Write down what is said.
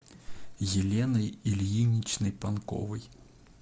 еленой ильиничной панковой